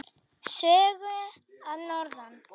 Sögur að norðan.